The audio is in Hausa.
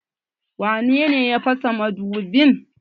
Wane ne ya fasa madubin?